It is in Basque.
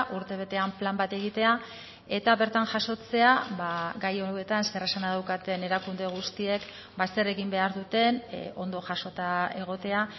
urtebetean plan bat egitea eta bertan jasotzea gai hauetan zer esana daukaten erakunde guztiek zer egin behar duten ondo jasota egotea